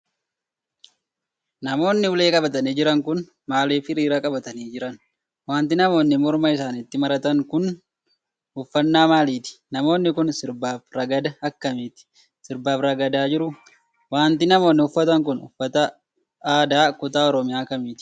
Namoonni ulee qabatanii jiran kun, maaliif hiriira qabatanii jiran? Wanti namoonni morma isaanitti maratan kun, uffannaa maaliiti? Namooni kun, sirba fi ragada akkamiit sirbaa fi ragadaa jiru? Wanti namonni uffatan kun, uffata aadaa kutaa Oromiyaa kamiiti?